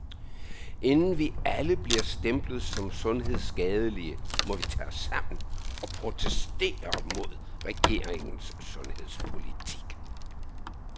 Inden vi alle bliver stemplet som sundhedsskadelige, må vi tage os sammen og protestere mod regeringens sundhedspolitik.